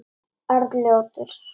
Arnljótur